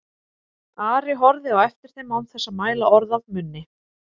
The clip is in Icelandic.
Ari horfði á eftir þeim án þess að mæla orð af munni.